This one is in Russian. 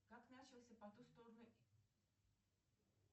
как начался по ту сторону